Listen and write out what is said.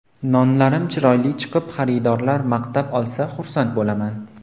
Nonlarim chiroyli chiqib, xaridorlar maqtab olsa, xursand bo‘laman.